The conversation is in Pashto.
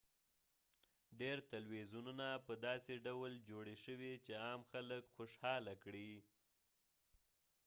ډیر تلویزیونونه په داسې ډول جوړي شوي چې عام خلک خوشحاله کړي